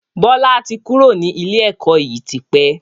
Bọlá tí kúrò ní ilé ẹ̀kọ́ yìí tí pẹ́.